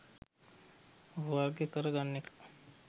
වර්ග කර ගන්න එක.